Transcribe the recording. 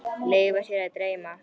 Leyfa sér að dreyma.